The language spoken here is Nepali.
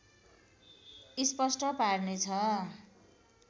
स्पष्ट पार्ने छ